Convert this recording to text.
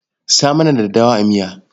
Sa mana daddawa a miya.